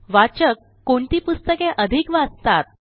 वाचक कोणती पुस्तके अधिक वाचतात